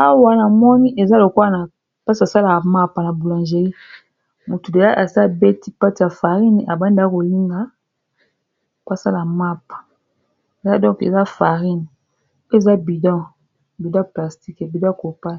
Awa na moni eza lokola naesika basalaka mappa na boulangery motu moko azo sala pate ya farine abandaka kolinga pasala mappa ya donc eza farine poe eza budo budo plastique budo corpa